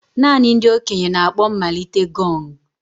Naanị ndị okenye na-akpọ mmalite gong.